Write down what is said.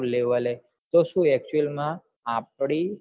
level લે તો શું actual માં આપડી